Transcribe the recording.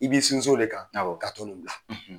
I b'i sinsin o de kan ka